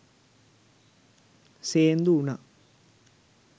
සේන්දු වුණා.